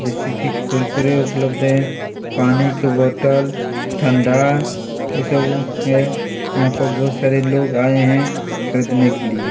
जैसे की कुर्करे उपलध है पानी के बोटल ठंडा यह सब वो है यहाँ पे बहोत सारे लोग आए है खरीदनें के लिए--